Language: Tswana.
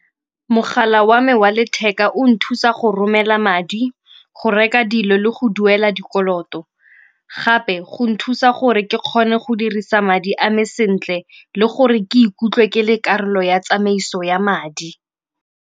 Mogala wa me wa letheka o nthusa go romela madi, go reka dilo le go duela dikolot gape go nthusa gore ke kgone go dirisa madi a me sentle le gore ke ikutlwe ke le karolo ya tsamaiso ya madi.